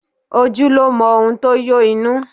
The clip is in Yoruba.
Ojú lo mọ ohun to yó inú